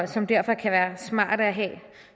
som derfor kan være smarte at have